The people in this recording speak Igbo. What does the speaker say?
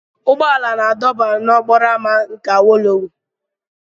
Ụgbọ ala na-adọba n'okporo ámá nke awolowo.